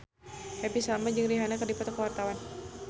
Happy Salma jeung Rihanna keur dipoto ku wartawan